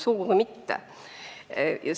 Sugugi mitte!